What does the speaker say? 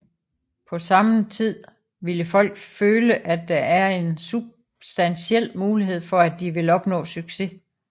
På sammen tid vil folk føle at der er en substantiel mulighed for at de vil opnå succes